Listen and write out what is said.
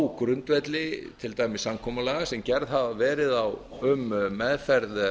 á grundvelli til dæmis samkomulaga sem gerð hafa verið um meðferð